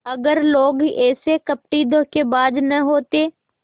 अगर लोग ऐसे कपटीधोखेबाज न होते